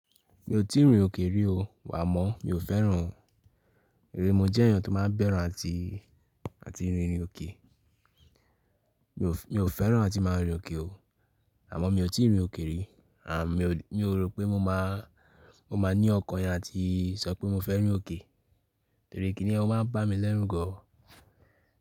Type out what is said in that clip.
Mi ò tíì rin òkè rí o. Á mọ̀, mi ò fẹ́ràn rí. Mo jẹ́ èeyàn tó máa ń bẹ́ru àti, àti rirìn òkè. Mi ò, mi ò fẹ́ràn àti máa rin òkè o. Àmọ́ mi ò tíì rin òkè rí. Mi ò rò pé mo máa, mo máa ní ọkàn yẹn áti sọ pé mo fẹ́ rin òkè. Torí kíni yẹ o máa ń bá mi lẹ́rùn gan.